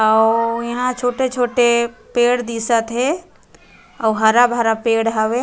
अउ यहाँ छोटे-छोटे पेड दिसत हे अउ हरा-भरा पेड़ हवे।